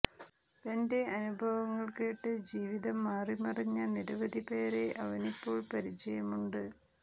തന്റെ അനുഭവങ്ങൾ കേട്ട് ജീവിതം മാറിമറിഞ്ഞ നിരവധി പേരെ അവനിപ്പോൾ പരിചയമുണ്ട്